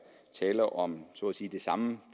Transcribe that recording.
tale om så at sige det samme